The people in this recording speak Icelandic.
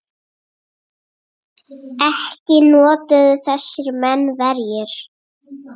Ekki notuðu þessir menn verjur.